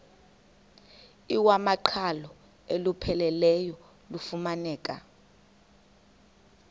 iwamaqhalo olupheleleyo lufumaneka